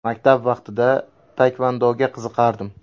Maktab vaqtida taekvondoga qiziqardim.